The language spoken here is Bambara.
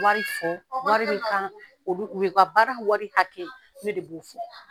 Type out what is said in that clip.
Wari fɔ wari kan olu u ka baara wari hakɛ ne de b'o fɔ.